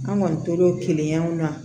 An kɔni tora o kiliyanw na